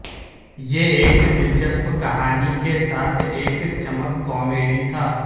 یہ ایک دلچسپ کہانی کے ساتھ ایک چمک کامیڈی تھا